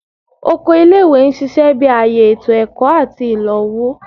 Oko ile-iwe n ṣiṣẹ bi aaye eto ẹkọ ati ilowo